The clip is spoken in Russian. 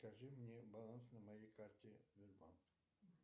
скажи мне баланс на моей карте сбербанк